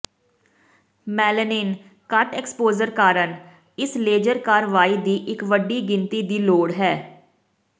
melanin ਘੱਟ exposure ਕਾਰਨ ਇਸ ਲੇਜ਼ਰ ਕਾਰਵਾਈ ਦੀ ਇੱਕ ਵੱਡੀ ਗਿਣਤੀ ਦੀ ਲੋੜ ਹੈ